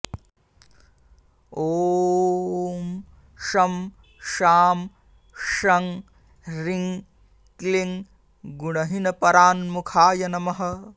ॐ शं शां षं ह्रीं क्लीं गुणहीनपराङ्मुखाय नमः